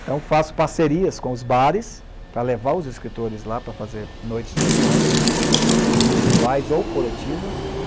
Então faço parcerias com os bares para levar os escritores lá para fazer noites de autógrafos individuais ou coletivas.